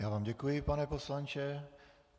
Já vám děkuji, pane poslanče.